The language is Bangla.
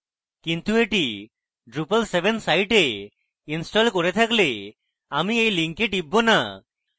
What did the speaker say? কিন্তু এটি drupal 7 site a ইনস্টল করে থাকলে আমি এই link টিপব না